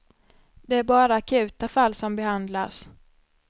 Det är bara akuta fall som behandlas.